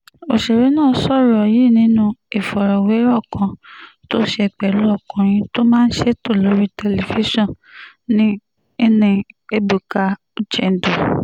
ọ̀sẹ̀rẹ̀ náà sọ̀rọ̀ yìí nínú ìfọ̀rọ̀wérọ̀ kan tó ṣe pẹ̀lú ọkùnrin tó máa ń ṣètò lórí tẹlifíṣàn nni ebuka uchendu